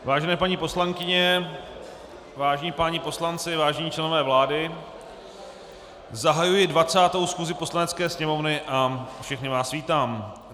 Vážené paní poslankyně, vážení páni poslanci, vážení členové vlády, zahajuji 20. schůzi Poslanecké sněmovny a všechny vás vítám.